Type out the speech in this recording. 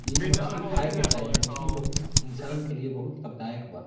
ई मछली खाये के चाही मछली बहुत इंसान के लिए बहुत लाभदायक बा।